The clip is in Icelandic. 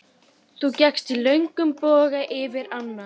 Þú gekkst í löngum boga yfir ána.